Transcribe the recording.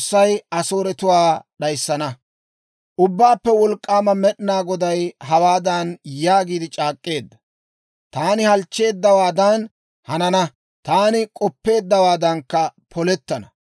Ubbaappe Wolk'k'aama Med'inaa Goday hawaadan yaagiide c'aak'k'eedda; «Taani halchcheeddawaadan hanana; taani k'oppeeddawaadankka polettana.